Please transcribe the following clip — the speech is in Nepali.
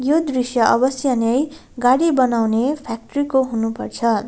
यो दृश्य अवश्य नै गाडी बनाउने फ्याक्ट्री को हुनुपर्छ।